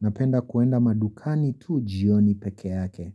Napenda kuenda madukani tu jioni peke yake